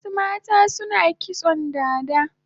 Wasu mata suna kitson dada